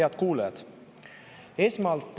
Head kuulajad!